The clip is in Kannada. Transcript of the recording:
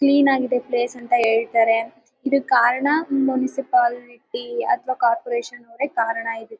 ಕ್ಲೀನ್ ಆಗಿದೆ ಪ್ಲೇಸ್ ಅಂತ ಹೇಳ್ತಾರೆ ಇದಕ್ಕೆ ಕಾರಣ ಮುನ್ಸಿಪಾಲಿಟಿ ಅಥವಾ ಕಾರ್ಪೊರೇಷನ್ ಅವರೇ ಕಾರಣ.